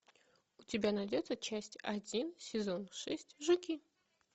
у тебя найдется часть один сезон шесть жуки